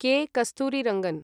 कॆ. कस्तूरीरङ्गन्